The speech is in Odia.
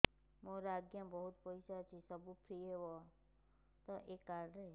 ମୋର ଆଜ୍ଞା ବହୁତ ପଇସା ଅଛି ସବୁ ଫ୍ରି ହବ ତ ଏ କାର୍ଡ ରେ